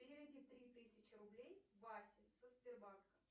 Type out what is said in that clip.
переведи три тысячи рублей васе со сбербанка